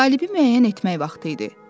Qalibi müəyyən etmək vaxtı idi.